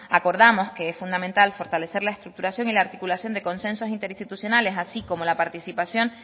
acordamos que es fundamental fortalecer la estructuración y la articulación de consensos interinstitucionales así como la participación